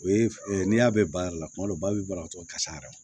O ye n'i y'a bɛɛ bayɛlɛma kuma dɔw la ba bɛ balo tɔ kasa yɛrɛ